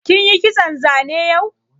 Kin yi kitson zane yau?